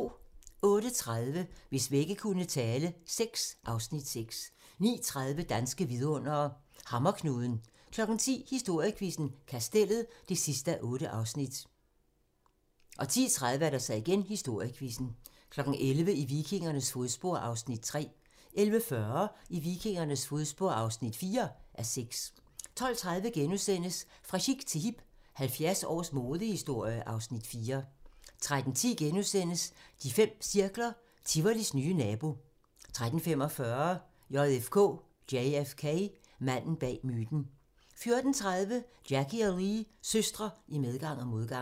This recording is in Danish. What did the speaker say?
08:30: Hvis vægge kunne tale VI (Afs. 6) 09:30: Danske vidundere: Hammerknuden 10:00: Historiequizzen: Kastellet (8:8) 10:30: Historiequizzen 11:00: I vikingernes fodspor (3:6) 11:40: I vikingernes fodspor (4:6) 12:30: Fra chic til hip – 70 års modehistorie (Afs. 4)* 13:10: De fem cirkler - Tivolis nye nabo * 13:45: JFK: Manden bag myten 14:30: Jackie og Lee – søstre i medgang og modgang